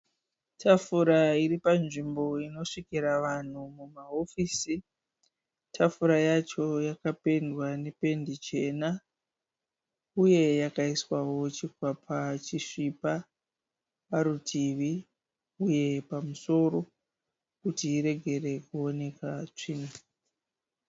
Tafura iri panzvimbo inosvikira vanhu mumahofisi. Tafura yacho yakapendwa nependi chena uye yakaiswawo chikwapa chisvipa parutivi uye pamusoro kuti iregere kuoneka tsvina.